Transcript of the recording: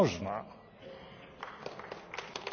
Liebe Kolleginnen und lieber Kollege!